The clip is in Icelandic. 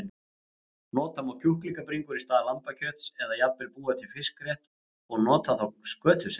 Nota má kjúklingabringur í stað lambakjöts eða jafnvel búa til fiskrétt og nota þá skötusel.